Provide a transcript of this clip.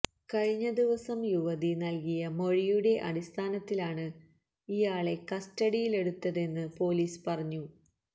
കഴിഞ്ഞ ദിവസം യുവതി നല്കിയ മൊഴിയുടെ അടിസ്ഥാനത്തിലാണ് ഇയാളെ കസ്റ്റഡിയിലെടുത്തതെന്ന് പോലീസ് പറഞ്ഞു